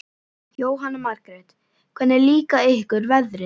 Jóhanna Margrét: Hvernig líka ykkur veðrið?